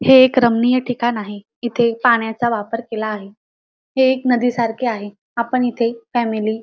हे एक रमणीय ठिकाण आहे इथे पाण्याचा वापर केला आहे हे एक नदीसारखे आहे आपण इथे फॅमिली --